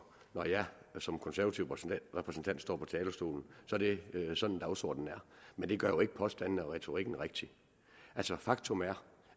når jeg som konservativ repræsentant står på talerstolen er det sådan dagsordenen er men det gør jo ikke påstandene og retorikken rigtig faktum er